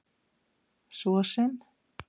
svo sem